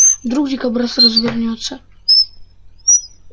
вдруг дикобраз развернётся